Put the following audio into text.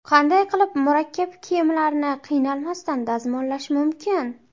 Qanday qilib murakkab kiyimlarni qiynalmasdan dazmollash mumkin?.